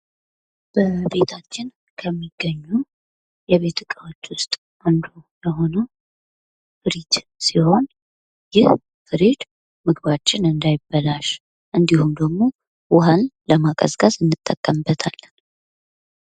በቤታችን ከሚገኙ የቤት እቃዎች ውስጥ አንዱ የሆነው ፍሪጅ ሲሆን ይህ ፍሪጅ ምግባችን እንዳይበላሽ እንዲሁም ደግሞ ውሃን ለማቀዝቀዝ እንጠቀምበታለን።